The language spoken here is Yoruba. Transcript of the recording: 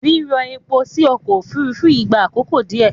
Rírọ epo sí ọkọ̀ Òfurufú yìí gbà àkókò díẹ̀.